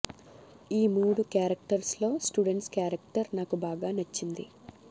ఈ మూడు క్యారెక్టర్స్ లో స్టూడెంట్ క్యారెక్టర్ నాకు బాగా నచ్చింది